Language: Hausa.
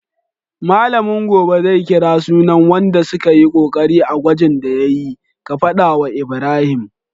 Mallamin gobe zai kira sunan wanda sukayi kokari a gwajin da yayi, ka fada wa Ibrahim